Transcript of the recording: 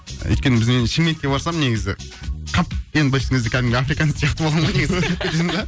өйткені біз енді шымкентке барсам негізі қап енді былайша айтқан кезде африканец сияқты болдым ғой негізі